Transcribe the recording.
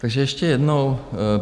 Takže ještě jednou.